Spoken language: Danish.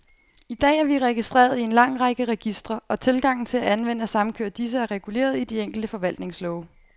I dag er vi registreret i en lang række registre, og tilgangen til at anvende og samkøre disse, er reguleret i de enkelte forvaltningslove.